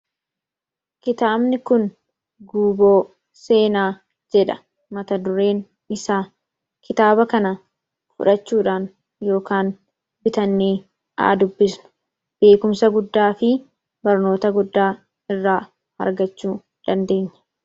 Kitaabni kun "Guuboo Seenaa" jedha mata dureen isaa. Kitaaba kana fudhachuudhaan yookaan bitannee haa dubbisnu. Beekumsa guddaa fi barnoota guddaa irraa argachuu dandeenya.